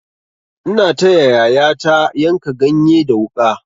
Ina taya yayata yanka ganye da wuƙa.